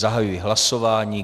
Zahajuji hlasování.